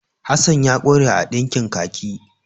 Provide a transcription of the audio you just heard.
Hasan ya ƙware a ɗinkin kaki.